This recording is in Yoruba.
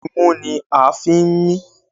Imú ni a fi ń mí.